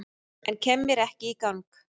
En kem mér ekki í gang